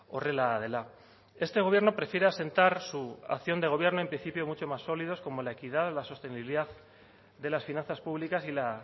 horrela dela este gobierno prefiere asentar su acción de gobierno en principio mucho más sólidos como la equidad la sostenibilidad de las finanzas públicas y la